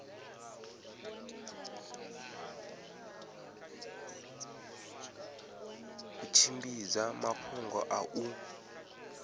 u tshimbidza mafhungo a u